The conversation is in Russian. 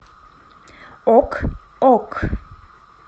ок ок